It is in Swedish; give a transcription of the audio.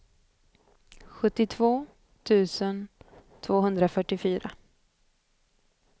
sjuttiotvå tusen tvåhundrafyrtiofyra